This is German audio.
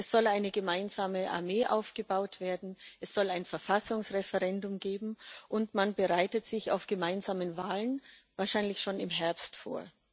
Es soll eine gemeinsame Armee aufgebaut werden, es soll ein Verfassungsreferendum geben und man bereitet sich auf gemeinsame Wahlen wahrscheinlich schon im Herbst vor.